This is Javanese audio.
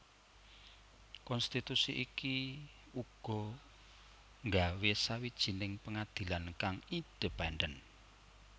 Konstitusi iki uga nggawe sawijining pengadilan kang independen